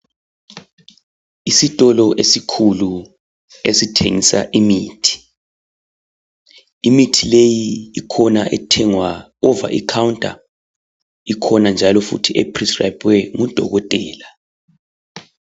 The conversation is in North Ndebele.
Isitolo esikhulu esithengisa imithi, imithi le ikhona ethengwa ova ekhawunta, ikhona njalo eprescribhwe ngudokotela .